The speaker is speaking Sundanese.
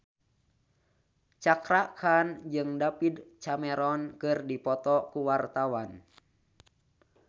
Cakra Khan jeung David Cameron keur dipoto ku wartawan